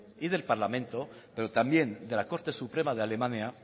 y del parlamento pero también de la corte suprema de alemania